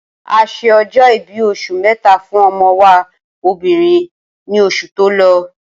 Ase ọjọ́-ìbí oṣù méta fún ọmọ wa obìrin ní oṣù to lọ